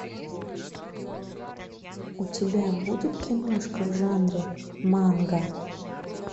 у тебя будет киношка в жанре манга